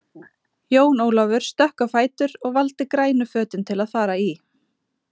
Jón Ólafur stökk á fætur og valdi grænu fötin til að fara í.